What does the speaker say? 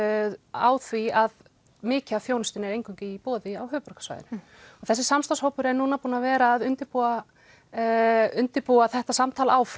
á því að mikið af þjónustu er eingöngu í boði á höfuðborgarsvæðinu þessi samstarfshópur er núna búinn að vera að undirbúa undirbúa þetta samtal áfram